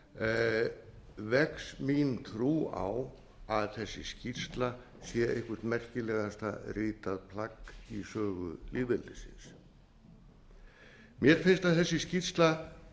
lesturinn vex mín trú á að þessi skýrsla sé eitthvert merkilegasta ritað plagg í sögu lýðveldisins mér finnst að þessi skýrsla